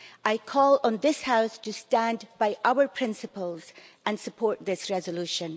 I call on this House to stand by our principles and support this resolution.